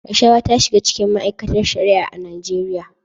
Rashawa ta shiga cikin ma'aikatar Shari'a a Najeriya.